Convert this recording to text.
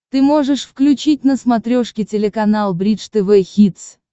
ты можешь включить на смотрешке телеканал бридж тв хитс